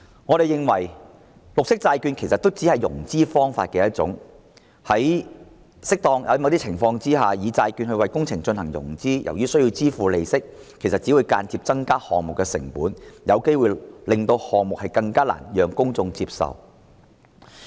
我們認為，綠色債券其實只是融資方法的一種，在某些情況下，透過債券為工程進行融資，由於須支付利息，其實只會間接增加項目成本，有機會令公眾更難接受有關項目。